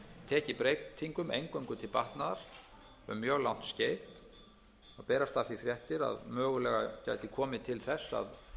tekið breytingum eingöngu til batnaðar um mjög langt skeið og berast af því fréttir að mögulega gæti komið til þess að